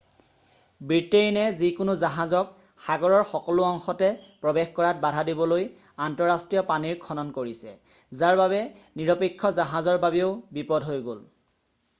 ব্ৰিটেইনে যিকোনো জাহাজক সাগৰৰ সকলো অংশতে প্ৰৱেশ কৰাত বাধা দিবলৈ আন্তঃৰাষ্ট্ৰীয় পানীৰ খনন কৰিছে যাৰ বাবে নিৰপেক্ষ জাহাজৰ বাবেও বিপদ হৈ গ'ল।